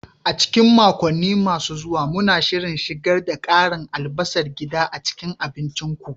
A cikin makonni masu zuwa, muna shirin shigar da karin albasar gida a cikin abincinku.